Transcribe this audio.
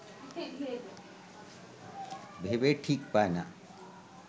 ভেবে ঠিক পায় না